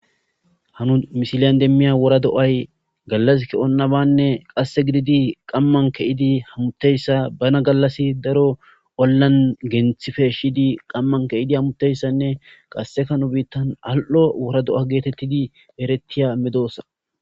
Nuanu misilyan demmiya wora do7ay gallas ke7on nabanne qasse gididi qamman ke7idi hamutteyssa bana gallas daro ollan genthife shidi qamman ke7idi hamutteyssanne qassekanu biittan al7o wora do7a geetettidi erettiya medoossa